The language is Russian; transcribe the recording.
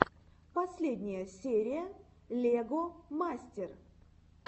последняя серия лего мастер